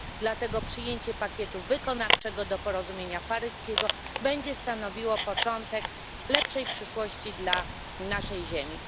dlatego przyjęcie pakietu wykonawczego do porozumienia paryskiego będzie stanowiło początek lepszej przyszłości dla naszej Ziemi.